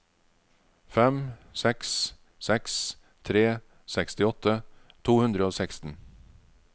fem seks seks tre sekstiåtte to hundre og seksten